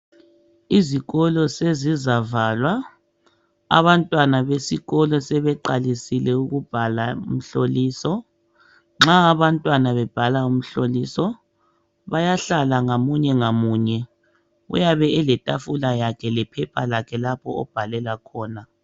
Izikolo sezizavalwa, abantwana besikolo sebeqalisile ukubhala imhloliso. Nxa abantwana bebhala imihloliso bayahlala ngamunye ngamunye uyabe eletafula yakhe lephepha lakhe lapha obhalela khona.